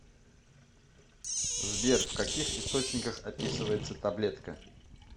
сбер в каких источниках описывается таблетка